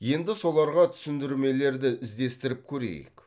енді соларға түсіндірмелерді іздестіріп көрейік